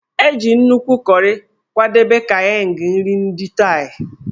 E ji nnukwu kọrị kwadebe Kaeng nri ndị Thai.